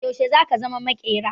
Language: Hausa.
Yaushe zaka zama maƙera?